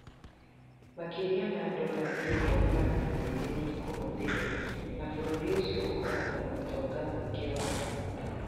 Makĩria ma dola bilioni 200 nĩ ikũhũthĩrũo, na bũrũri ũcio ũkoragwo na ũtonga mũingĩ wa maguta.